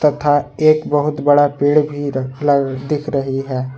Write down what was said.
तथा एक बहुत बड़ा पेड़ भी दिख रही है।